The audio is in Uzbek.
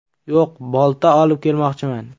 Yo‘q, bolta olib kelmoqchiman!